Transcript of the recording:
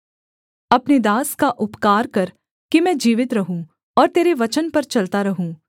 अपने दास का उपकार कर कि मैं जीवित रहूँ और तेरे वचन पर चलता रहूँ